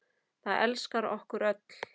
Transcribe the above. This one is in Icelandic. Það elskar okkur öll.